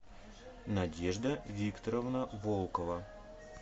надежда викторовна волкова